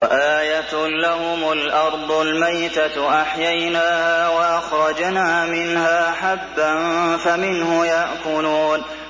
وَآيَةٌ لَّهُمُ الْأَرْضُ الْمَيْتَةُ أَحْيَيْنَاهَا وَأَخْرَجْنَا مِنْهَا حَبًّا فَمِنْهُ يَأْكُلُونَ